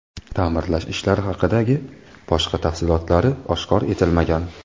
Ta’mirlash ishlari haqidagi boshqa tafsilotlari oshkor etilmagan.